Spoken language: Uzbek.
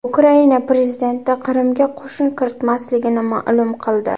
Ukraina prezidenti Qrimga qo‘shin kiritmasligini ma’lum qildi.